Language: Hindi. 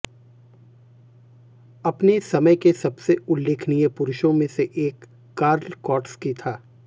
अपने समय के सबसे उल्लेखनीय पुरुषों में से एक कार्ल कौटस्की था